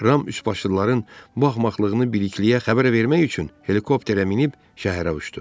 Ram üçbaşlıların axmaqlığını bilikliyə xəbər vermək üçün helikopterə minib şəhərə uçdu.